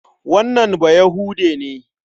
Wannan Bayahude ne.